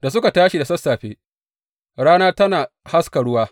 Da suka tashi da sassafe, rana tana haska ruwa.